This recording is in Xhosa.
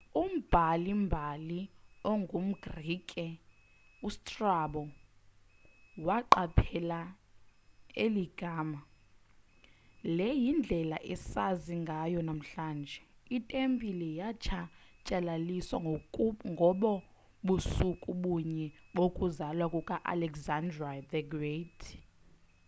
umbhali-mbali ongumgrike ustrabo waqaphela eli gama le yindlela esazi ngayo namhlanje. itempile yatshatyalaliswa ngobo busuku bunye bokuzalwa kuka-alexander the great